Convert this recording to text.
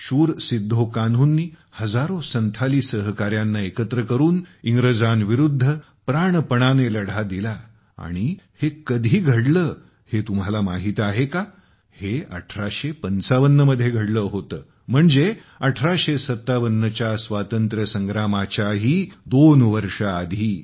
शूर सिद्धो कान्हूंनी हजारो संथाली सहकाऱ्यांना एकत्र करून इंग्रजांविरुद्ध प्राणपणाने लढा दिला आणि हे कधी घडले हे तुम्हाला माहीत आहे का हे 1855 मध्ये घडले होते म्हणजे 1857 च्या स्वातंत्र्य संग्रामाच्या ही दोन वर्षे आधी